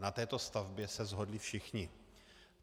Na této stavbě se shodli všichni.